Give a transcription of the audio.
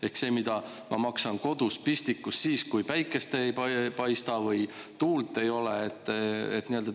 Ehk see, mida ma maksan kodus pistikus siis, kui päikest ei paista või tuult ei ole nii-öelda.